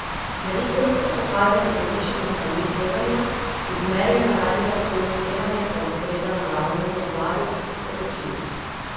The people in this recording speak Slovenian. Meritve niso pokazale povišanih ravni sevanja, izmerjeno radioaktivno sevanje pa ustreza naravnemu ozadju, so sporočili.